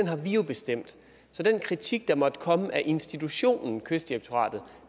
har vi bestemt så den kritik der måtte komme af institutionen kystdirektoratet